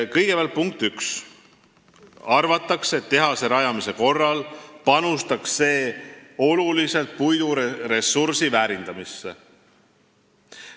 Kõigepealt arvatakse, et tehas panustaks oluliselt puiduressursi väärindamisse.